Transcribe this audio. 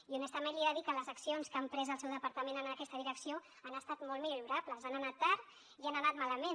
i honestament li he de dir que les accions que ha emprès el seu departament en aquesta direcció han estat molt millorables han anat tard i han anat malament